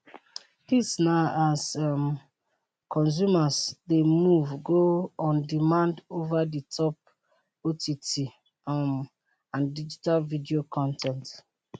dis na as um consumers dey move go on demand over the top ott um and digital video con ten t